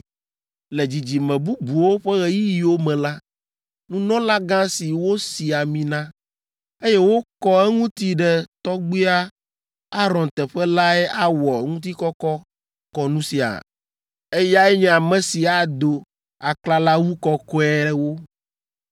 Le dzidzime bubuwo ƒe ɣeyiɣiwo me la, nunɔlagã si wosi ami na, eye wokɔ eŋuti ɖe Tɔgbuia Aron teƒe lae awɔ ŋutikɔkɔ kɔnu sia. Eyae nye ame si ado aklalawu kɔkɔeawo,